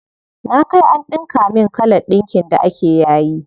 Na kai an ɗinka min kalan ɗinkin da ake yayi.